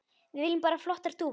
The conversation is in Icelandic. Við viljum bara flottar dúfur.